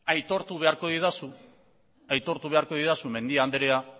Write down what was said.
aitortu beharko didazu mendia andrea